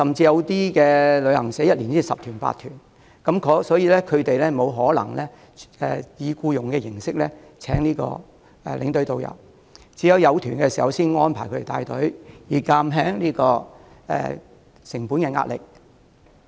由於小型旅行社每年只有十數團，團量不多，不可能以僱傭形式聘請領隊及導遊，所以只會在有需要時才安排兼職領隊及導遊帶團，以減輕成本壓力。